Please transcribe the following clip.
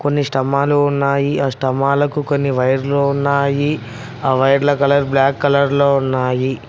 కొన్ని స్తంభాలు ఉన్నాయి ఆ స్తంభాలకు కొన్ని వైర్లు ఉన్నాయి ఆ వైర్ల కలర్ బ్లాక్ కలర్ లో ఉన్నాయి.